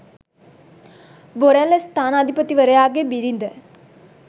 බොරැල්ල ස්ථානාධිපතිවරයාගේ බිරිඳ